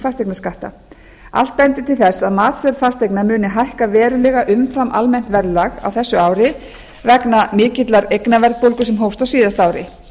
fasteignaskatta allt bendir til þess að matsverð fasteigna muni hækka verulega umfram almennt verðlag á þessu ári vegna mikillar eignaverðbólga sem hófst á síðasta ári